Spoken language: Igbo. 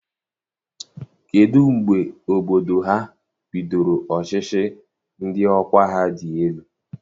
Kedụ mgbe obodo ha bidoro ọchịchị ndị ọkwa ha dị elu?